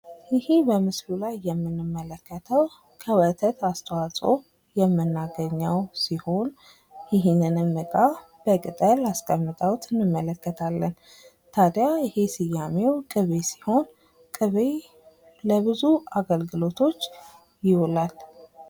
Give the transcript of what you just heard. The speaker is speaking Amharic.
ይህ በምስሉ ላይ የምንመለከተው ከወተት አስተዋጽኦ የምናገኘው ሲሆን ይህንንም ዕቃ በቅጠል አስቀምጠውት እንመለከታለን። ታዲያ ይህ ስያሜው ቅቤ ሲሆን ቅቤ ለብዙ አገልግሎቶች ይውላል።